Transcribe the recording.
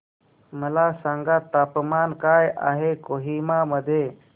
मला सांगा तापमान काय आहे कोहिमा मध्ये